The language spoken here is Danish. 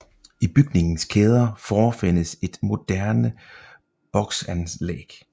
I bygningens kæder forefindes et moderne boksanlæg